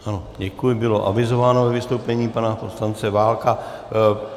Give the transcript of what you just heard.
Ano, děkuji, bylo avizováno ve vystoupení pana poslance Válka.